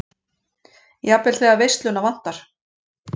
Jafnvel þegar veisluna vantar.